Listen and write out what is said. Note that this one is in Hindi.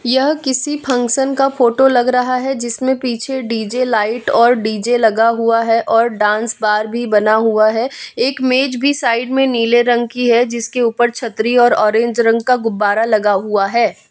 यह किसी फंक्शन का फोटो लग रहा है जिसमें पीछे डी_जे लाइट और डी_जे लगा हुआ है और डांस बार भी बना हुआ है एक मेज भी साइड में नीले रंग की है जिसके उपर छतरी और औरेंज रंग का गुब्बारा लगा हुआ है।